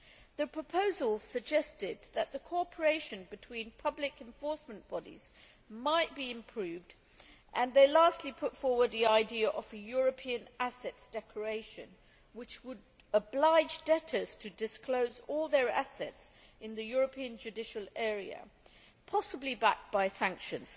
The proposal suggested that the cooperation between public enforcement bodies might be improved and, lastly, it put forward the idea of a European assets declaration, which would oblige debtors to disclose all their assets in the European judicial area, possibly backed by sanctions.